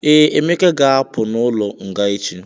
Ee, Emeka ga-apụ n'ụlọ nga echi.